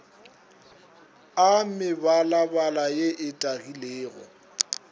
a mebalabala ye e tagilego